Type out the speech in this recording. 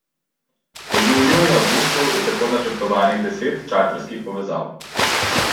V juliju in avgustu je tako načrtovanih deset čarterskih povezav.